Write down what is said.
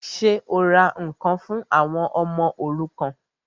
Ṣé o ra ǹkan fún àwọn ọmọ òrukàn?